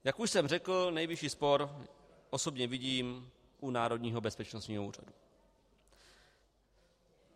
Jak už jsem řekl, nejvyšší spor osobně vidím u Národního bezpečnostního úřadu.